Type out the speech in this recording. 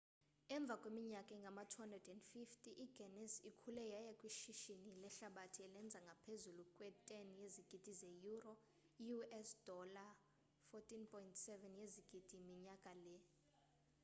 emva kweminyaka engama-250 iguinness ikhule yaya kwishishini lehlabathi elenza ngaphezulu kwe-10 yezigidi zeyuro i-us $ 14.7 yezigidi minyaka le